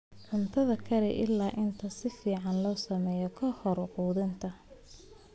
Cuntada kari ilaa inta si fiican loo sameeyo ka hor quudinta.